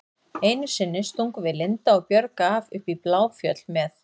Einu sinni stungum við Linda og Björg af upp í Bláfjöll með